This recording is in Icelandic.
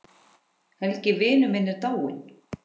Helgi vinur minn er dáinn.